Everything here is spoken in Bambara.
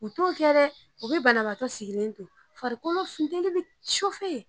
U t'o kɛ dɛ u bɛ banabagatɔ sigilen to farikolo funteni bɛ